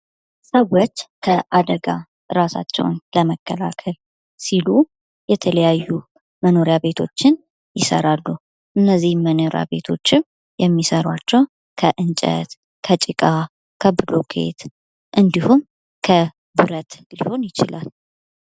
ሰዎች ከአደጋ ራሳቸውን ለመከላከል ሲሉ የተለያዩ መኖሪያ ቤቶችን ይሰራሉ። እነዚህን መኖሪያ ቤቶችን የሚሰሯቸው ከእንጨት ከጭቃ ከብሎኬት እንዲሁም ከብረት ሊሆን ይችላል።